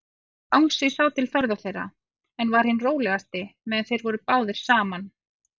Bangsi sá til ferða þeirra, en var hinn rólegasti, meðan þeir voru báðir saman.